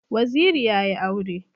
Waziri yayi aure